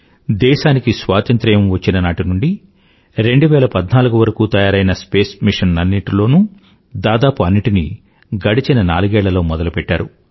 దేశానికి స్వాతంత్రం వచ్చిన నాటి నుండీ 2014 వరకూ తయారైన స్పేస్ మిషన్లన్నింటిలో దాదాపు స్పేస్ మిషన్ లన్నింటినీ గడచిన నాలుగేళ్ళలో మొదలుపెట్టారు